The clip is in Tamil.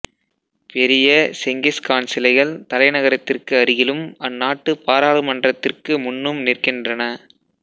பெரிய செங்கிஸ் கான் சிலைகள் தலைநகரத்திற்கு அருகிலும் அந்நாட்டுப் பாராளுமன்றத்திற்கு முன்னும் நிற்கின்றன